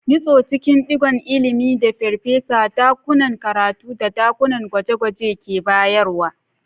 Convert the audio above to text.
Nutse cikin ɗigon ilimin da farfesa, dakunan karatu, da dakunan gwaje-gwaje ke bayarwa.